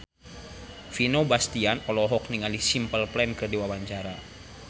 Vino Bastian olohok ningali Simple Plan keur diwawancara